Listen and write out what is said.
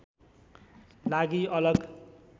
लागि अलग